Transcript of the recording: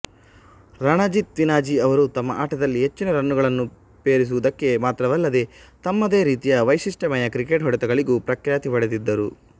ರಣಜಿತ್ಸಿನ್ಹಜಿ ಅವರು ತಮ್ಮ ಆಟದಲ್ಲಿ ಹೆಚ್ಚಿನ ರನ್ನುಗಳನ್ನು ಪೇರಿಸಿರುವುದಕ್ಕೆ ಮಾತ್ರವಲ್ಲದೆ ತಮ್ಮದೇ ರೀತಿಯ ವೈಶಿಷ್ಟ್ಯಮಯ ಕ್ರಿಕೆಟ್ ಹೊಡೆತಗಳಿಗೂ ಪ್ರಖ್ಯಾತಿ ಪಡೆದಿದ್ದರು